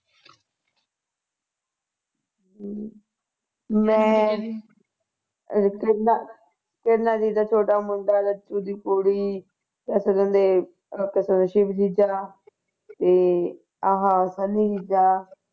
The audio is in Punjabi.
ਹਮ ਮੈਂ ਉਹ ਕਹਿੰਦਾ ਤਿੰਨਾ ਦਾ ਮੁੰਡਾ ਦੀ ਕੁੜੀ ਇਕ ਕਹਿੰਦੇ ਇਕ ਤੇ ਸ਼ਿਵ ਜੀਜਾ ਤੇ ਆਹ ਸੰਨੀ ਜੀਜਾ